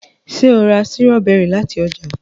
ṣe o rà Sírọ́bẹ́rì láti oja?